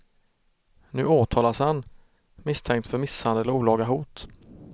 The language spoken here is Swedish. Nu åtalas han, misstänkt för misshandel och olaga hot.